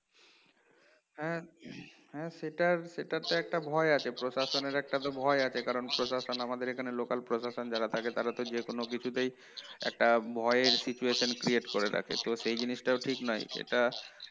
হ্যাঁ হ্যাঁ সেটার সেটার তো একটা ভয় আছে প্রশাসনের একটা তো ভয় আছে কারণ প্রশাসন আমাদের এখানে local প্রশাসন যারা থাকে তারা তো যেকোনো কিছুতেই একটা ভয়ের situation create করে রাখে তো সেই জিনিসটাও ঠিক নয় সেটা